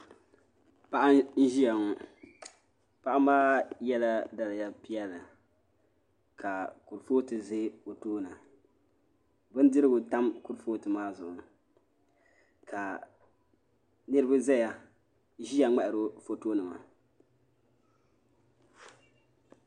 Paɣa n-ʒiya ŋɔ paɣa maa yela daliya piɛla ka kurufootu ʒe o tooni bindirigu tam kurufootu maa zuɣu ka niriba ʒiya ŋmahiri o fotonima.